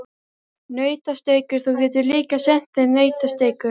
Nautasteikur, þú getur líka sent þeim nautasteikur.